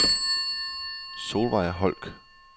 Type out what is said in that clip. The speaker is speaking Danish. Solvej Holck